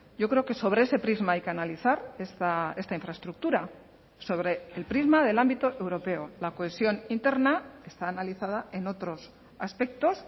yo creo que sobre ese prisma hay que analizar esta infraestructura sobre el prisma del ámbito europeo la cohesión interna está analizada en otros aspectos